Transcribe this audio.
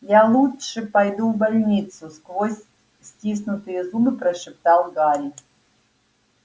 я лучше пойду в больницу сквозь стиснутые зубы прошептал гарри